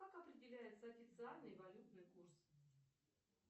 как определяется официальный валютный курс